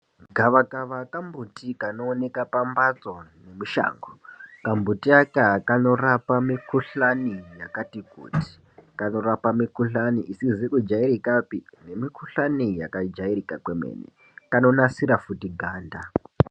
Gavakava kambuti kanooneke pambatso ngemushango , kambuti aka kanorapa mikhuhlani yakati kuti , kanorapa mikhuhlani isizi kujaitikapi nemikhuhlani yakajairira kwemene kanonasira futi anda.